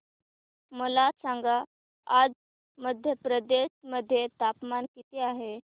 मला सांगा आज मध्य प्रदेश मध्ये तापमान किती आहे